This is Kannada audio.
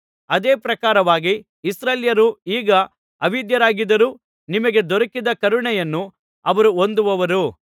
ಅದೇ ಪ್ರಕಾರವಾಗಿ ಇಸ್ರಾಯೇಲ್ಯರೂ ಈಗ ಅವಿಧೇಯರಾಗಿದ್ದರೂ ನಿಮಗೆ ದೊರಕಿದ ಕರುಣೆಯನ್ನು ಅವರು ಹೊಂದುವರು